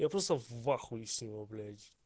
я просто в ахуе всего блять